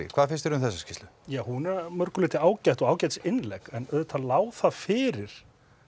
hvað finnst þér um þessa skýrslu já hún er að mörgu leyti ágæt og ágætis innlegg en auðvitað lá það fyrir